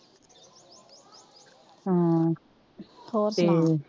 ਹੋਰ ਸੁਣਾ